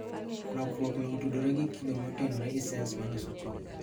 Lokruok no otudore gi kido motenore gi cells maloso chogo